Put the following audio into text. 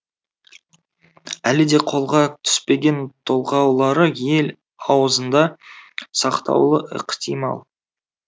әлі де қолға түспеген толғаулары ел аузында сақтаулы ықтимал